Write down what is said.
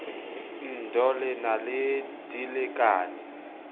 ndoh le na le dilekane